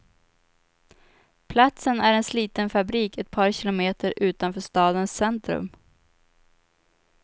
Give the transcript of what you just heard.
Platsen är en sliten fabrik, ett par kilometer utanför stadens centrum.